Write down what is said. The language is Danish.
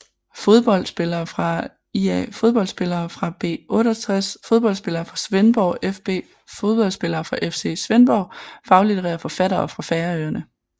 Fodboldspillere fra ÍA Fodboldspillere fra B68 Fodboldspillere fra Svendborg fB Fodboldspillere fra FC Svendborg Faglitterære forfattere fra Færøerne